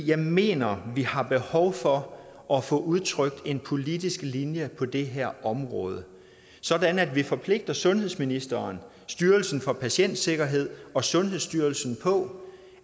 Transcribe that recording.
jeg mener at vi har behov for at få udtrykt en politisk linje på det her område sådan at vi forpligter sundhedsministeren styrelsen for patientsikkerhed og sundhedsstyrelsen på